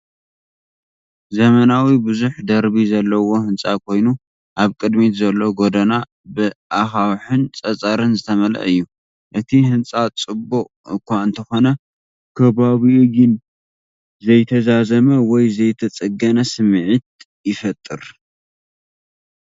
ዘመናዊ ብዙሕ ደርቢ ዘለዎ ህንጻ ኮይኑ፡ ኣብ ቅድሚት ዘሎ ጎደና ብኣኻውሕን ጸጸርን ዝተመልአ እዩ። እቲ ህንጻ ጽቡቕ እኳ እንተኾነ፡ ከባቢኡ ግን ዘይተዛዘመ ወይ ዘይተጸገነ ስምዒት ይፈጥር።